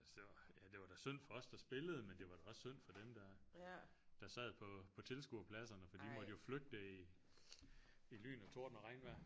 Altså det var ja det var da synd for os der spillede men det var da også synd for dem der der sad på tilskuerpladserne for de måtte jo flygte i i lyn og torden og regnvejr